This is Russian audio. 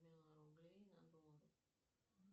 миллион рублей на доллары